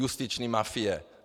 Justiční mafie.